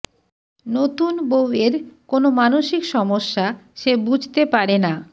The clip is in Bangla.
নতুন বউ এর কোনো মানসিক সমস্যা সে বুঝতে পারে না